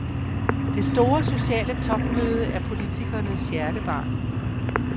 Det store sociale topmøde er politikernes hjertebarn.